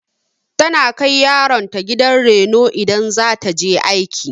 Tana kai yaron ta gidan raino idan za ta je aiki.